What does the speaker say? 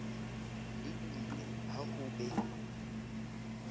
le dumme ha ho be